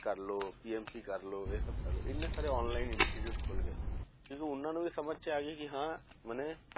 ਕਰ ਲਓ TMT ਕਰ ਲਓ, ਇਹ ਸਭ ਕਰ ਲਓ ਇਹ ਨਾ ਸਾਰੇ online institute ਖੁੱਲ ਗਏ, ਕਿਉਂਕਿ ਉਹਨਾਂ ਨੂੰ ਵੀ ਸਮਝ 'ਚ ਆ ਗਈ ਕਿ ਹਾਂ ਮਨੇ